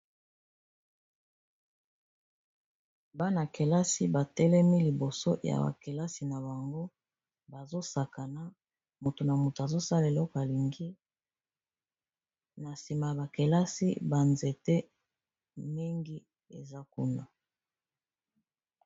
Bana-kelasi batelemi liboso ya bakelasi na bango, bazo sakana moto na moto azosala eloko alingi na nsima a bakelasi banzete mingi eza kuna.